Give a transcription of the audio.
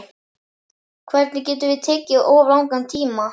Hvernig getum við tekið of langan tíma?